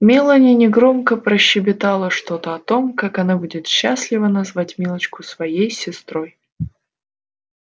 мелани негромко прощебетала что-то о том как она будет счастлива назвать милочку своей сестрой